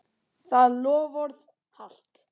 Það loforð halt.